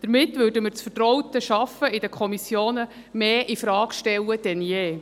Damit stellten wir das vertraute Arbeiten in der Kommission mehr denn je infrage.